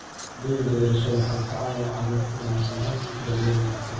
Shahaadooyinka dhalashada waxay ka caawiyaan carruurta inay helaan daryeel wanaagsan.